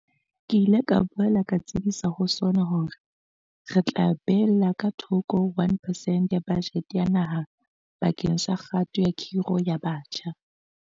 Ke ile ka boela ka tsebisa ho SoNA hore re tla beella ka thoko 1 percent ya bajete ya naha bakeng sa kgato ya kgiro ya batjha.